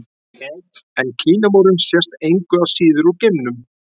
En Kínamúrinn sést engu að síður úr geimnum.